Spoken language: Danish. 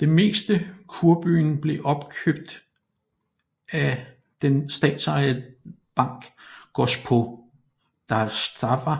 Det meste kurbyen blev opkøbt af den statsejede bank Gospodarstwa